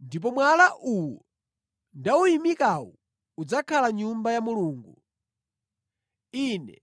ndipo mwala uwu ndawuyimikawu udzakhala Nyumba ya Mulungu. Ine